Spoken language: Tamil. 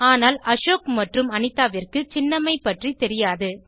ஆனால் அசோக் மற்றும் அனிதாவிற்கு சின்னம்மை பற்றி தெரியாது